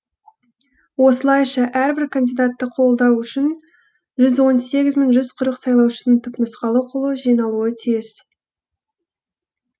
осылайша әрбір кандидатты қолдау үшін жүз он сегіз мың жүз қырық сайлаушының түпнұсқалы қолы жиналуы тиіс